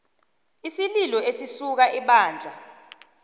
isililo esisuka ebandla